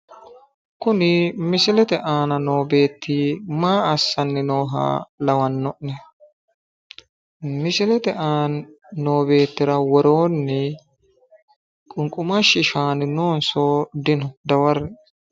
kuni misilete aana noo beetti maa assanni nooha lawanno'ne misilete aana noo beettira wooroonni qunqumashu shaani noonso dino dawarre.